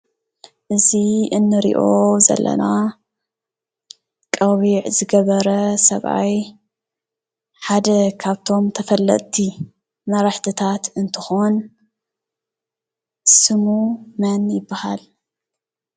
እዚ እንሪኦ ዘለና ቆቢዕ ዝገበረ ሰብአይ ሓደ ካብቶም ተፈለጥቲ መራሕቲታት እንትኾን ስሙ መን ይበሃል?